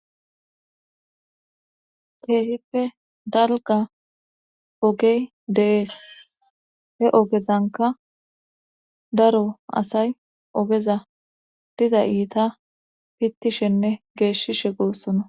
Cheeshippe dalga ogey deees he ogezanka daro asay ogeza diza iita pittishenne geeshishe goossona.